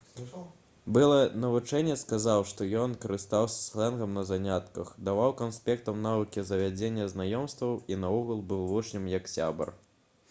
былы навучэнец сказаў што ён «карыстаўся слэнгам на занятках даваў канспектам навыкі завядзення знаёмстваў і наогул быў вучням як сябар»